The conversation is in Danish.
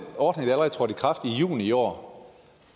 ordning der allerede trådte i kraft i juni i år